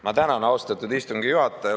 Ma tänan, austatud istungi juhataja!